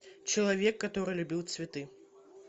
человек который любил цветы